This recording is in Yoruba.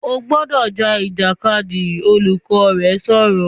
"O gbọ́dọ̀ ja Ìjàkadì!", Olùkọ́ni rẹ sọ̀rọ̀